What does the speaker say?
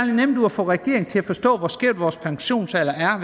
nemt ud at få regeringen til at forstå hvor skæv vores pensionsalder er